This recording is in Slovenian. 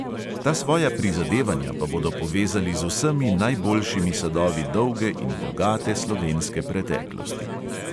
Ta svoja prizadevanja pa bodo povezali z vsemi najboljšimi sadovi dolge in bogate slovenske preteklosti.